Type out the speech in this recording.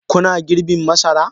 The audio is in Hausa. Kuna girbin masara?